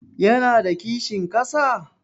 Ya na da kishin ƙasa?